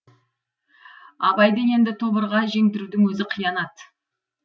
абайды енді тобырға жеңдірудің өзі қиянат